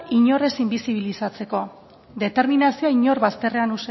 inor ez inbisibilizatzeko determinazioa inor bazterrean